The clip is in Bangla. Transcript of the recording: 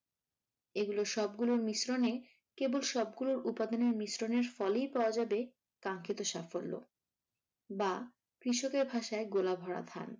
এগুলোর সবগুলোর মিশ্রনে, কেবল সবগুলা উপাদানের মিশ্রনেই ফলেই পাওয়া যাবে কাঙ্খিত সাফল্য। বা কৃষকের ভাষায় গোলা ভরা ধান।